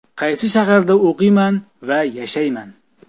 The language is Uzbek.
Qaysi shaharda o‘qiyman va yashayman?